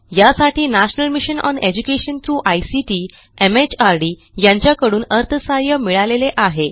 यासाठी national mission on education through ICT MHRD यांच्याकडून अर्थसहाय्य मिळालेले आहे